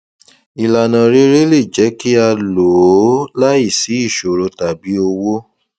ìlànà rere le jẹ kí a lò ó láìsí ìṣòro tàbí owó